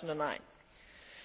2009.